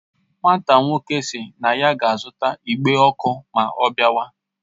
Nwata nwoke si na ya ga azuta igbe oku ma o biawa